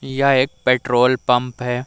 यह एक petrol pump है।